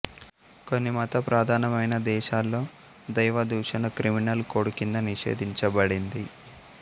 కొన్ని మతప్రదానమైన దేశాల్లో దైవదూషణ క్రిమినల్ కోడ్ కింద నిషేధించబడింది